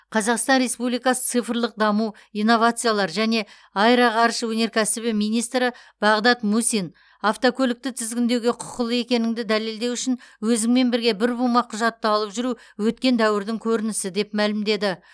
қазақстан республикасы цифрлық даму инновациялар және аэроғарыш өнеркәсібі министрі бағдат мусин автокөлікті тізгіндеуге құқылы екеніңді дәлелдеу үшін өзіңмен бірге бір бума құжатты алып жүру өткен дәуірдің көрінісі деп мәлімдеді